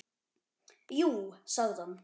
Jú sagði hann.